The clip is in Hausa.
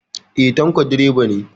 Eh, Tanko direba ne